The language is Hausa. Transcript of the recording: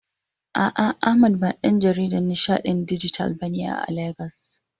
A'a, Ahmad ba ɗan jaridan nishaɗin dijital bane a Legas.